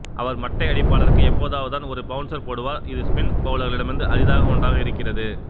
அவர் மட்டை அடிப்பாளருக்கு எப்போதாவதுதான் ஒரு பௌன்சர் போடுவார் இது ஸ்பின் பௌலர்களிடத்தில் அரிதான ஒன்றாக இருக்கிறது